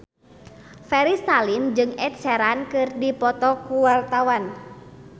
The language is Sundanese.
Ferry Salim jeung Ed Sheeran keur dipoto ku wartawan